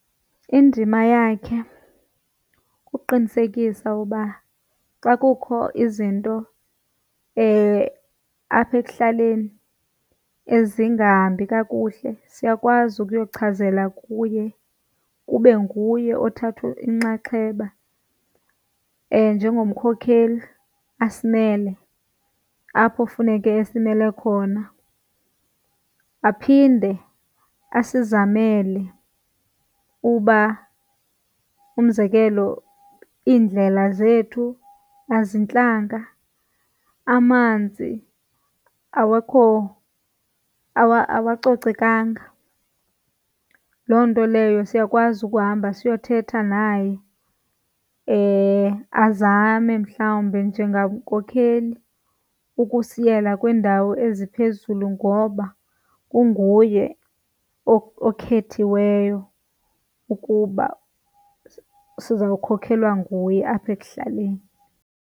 Indima yakhe kuqinisekisa uba xa kukho izinto apha ekuhlaleni ezingahambi kakuhle siyakwazi ukuyochazela kuye kube nguye othatha inxaxheba njengomkhokheli asimele apho funeke esimele khona. Aphinde asizamele uba umzekelo iindlela zethu azintlanga, amanzi awekho awacocekanga. Loo nto leyo siyakwazi ukuhamba siyothetha naye azame mhlawumbe njengankokheli ukusiyela kwiindawo eziphezulu ngoba unguye okhethiweyo ukuba siza kukhokelwa nguye apha ekuhlaleni.